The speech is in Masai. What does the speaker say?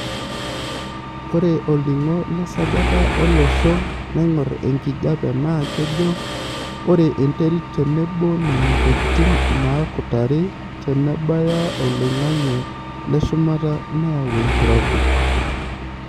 Ore olningo lesajata olosho naingorr enkijiepe naa kejo ore enterit tenebo nena tokitin naakutari tenebaya oloing'ange leshumata neyau enkirobi.